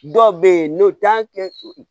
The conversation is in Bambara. Dɔw bɛ yen n'o t'a kɛ